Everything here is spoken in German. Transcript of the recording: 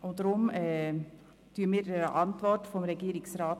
Deshalb folgen wir der Antwort des Regierungsrats.